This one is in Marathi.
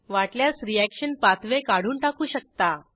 वाटल्यास रिअॅक्शन पाथवे काढून टाकू शकता